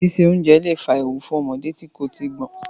Síse oúnjẹ lẹ̀ fa ewu fún ọmọdé tí kò tíì gbọ́n.